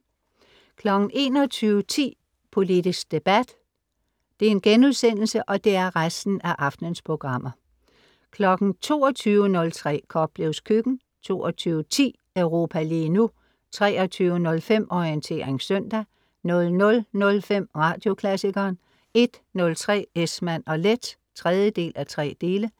21.10 Politisk debat* 22.03 Koplevs Køkken* 22.10 Europa lige nu* 23.05 Orientering søndag* 00.05 Radioklassikeren* 01.03 Esmann & Leth 3:3*